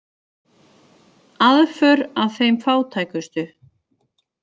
Aðför að þeim fátækustu